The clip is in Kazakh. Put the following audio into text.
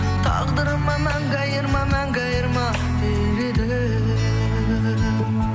тағдырыма мәңгі айырма мәңгі айырма дер едім